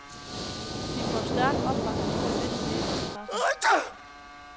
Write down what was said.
De får stærk opbakning af visse dele af pressen.